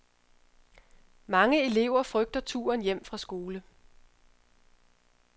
Mange elever frygter turen hjem fra skole.